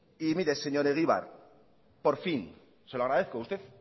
y mire señor egibar por fin se lo agradezco usted